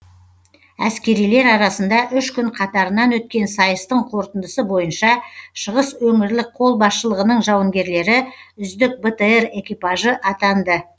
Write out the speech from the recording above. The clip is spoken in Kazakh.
әскерилер арасында үш күн қатарынан өткен сайыстың қорытындысы бойынша шығыс өңірлік қолбасшылығының жауынгерлері үздік бтр экипажы атанды